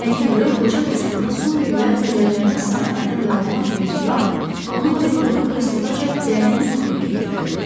Həkim Rəbb qoca dostuna son günlər ölənlərin sayı haqda məlumat verdiyi vaxt, onun oturduğu kreslodaca dərin yuxuya getdiyini gördü.